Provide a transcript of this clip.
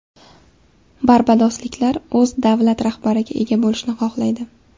Barbadosliklar o‘z davlat rahbariga ega bo‘lishni xohlaydi.